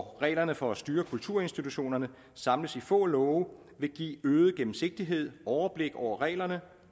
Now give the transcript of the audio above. reglerne for at styre kulturinstitutionerne samles i nogle få love vil give øget gennemsigtighed overblik over reglerne